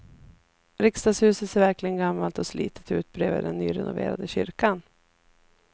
Riksdagshuset ser verkligen gammalt och slitet ut bredvid den nyrenoverade kyrkan.